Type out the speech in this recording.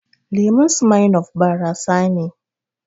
Lemun Smirnoff barasa ne